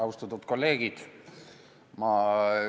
Austatud kolleegid!